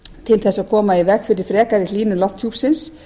til þess að koma í veg fyrir frekari hlýnun lofthjúpsins